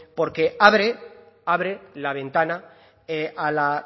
porque abre la ventana a la